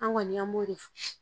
An kɔni an b'o de fɔ